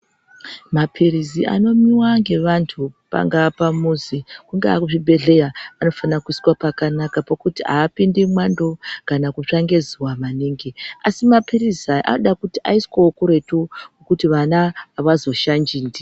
Mapirizi ano mwiwa nge vandu pangava pamuzi kungave kuzvi bhehleya anofana kuiswa pakanaka pekuti haa pindi mwando kana kutsva nge zuva maningi asi mapirizi aya anoda kuti aiswewo kuretu kuti vana havazo shanji ndio.